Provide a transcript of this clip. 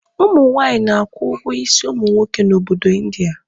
Ụmụ nwaanyị na-akwụ ụgwọ isi ụmụ nwoke n'obodo India.